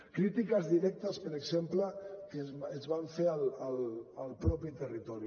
crítiques directes per exemple que es van fer al mateix territori